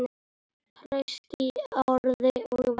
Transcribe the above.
Traust í orði og verki.